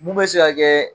Mun bɛ se ka kɛ